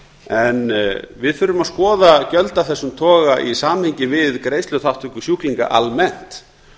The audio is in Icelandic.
en við þurfum að skoða gjöld af þessum toga í samhengi við greiðsluþátttöku sjúklinga almennt